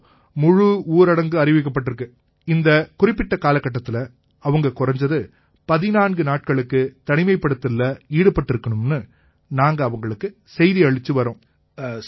இப்ப முழு ஊரடங்கு அறிவிக்கப்பட்டிருக்கு இந்தக் குறிப்பிட்ட காலத்தில அவங்க குறைஞ்சது 14 நாட்களுக்கு தனிமைப்படுத்தல்ல ஈடுபட்டிருக்கணும்னு நாங்க அவங்களுக்கு செய்தி அளிச்சு வர்றோம்